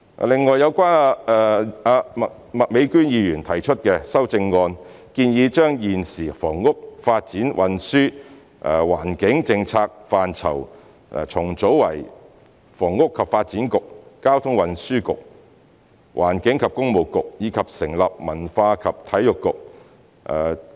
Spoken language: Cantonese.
另外，有關麥美娟議員提出的修正案，建議將現時房屋、發展、運輸、環境政策範疇重組為房屋及發展局、交通運輸局、環境及工務局，以及成立文化及體育局。